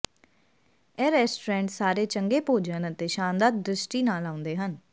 ਇਹ ਰੈਸਟੋਰੈਂਟ ਸਾਰੇ ਚੰਗੇ ਭੋਜਨ ਅਤੇ ਸ਼ਾਨਦਾਰ ਦ੍ਰਿਸ਼ਟੀ ਨਾਲ ਆਉਂਦੇ ਹਨ